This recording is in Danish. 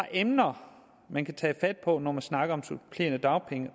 emner man kan tage fat på når man snakker om de supplerende dagpenge